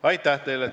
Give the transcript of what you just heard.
Aitäh teile!